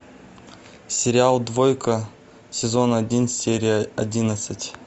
сериал двойка сезон один серия одиннадцать